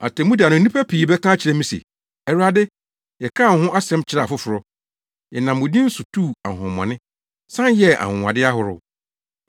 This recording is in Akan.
Atemmu da no, nnipa pii bɛka akyerɛ me se, ‘Awurade, yɛkaa wo ho asɛm kyerɛɛ afoforo. Yɛnam wo din nso so tuu ahonhommɔne, san yɛɛ anwonwade, ahorow.’